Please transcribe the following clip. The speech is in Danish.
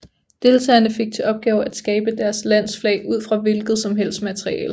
Deltagerne fik til opgave at skabe deres lands flag ud fra et hvilket som helst materiale